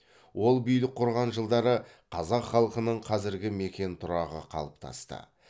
ол билік құрған жылдары қазақ халқының қазіргі мекен тұрағы қалыптасты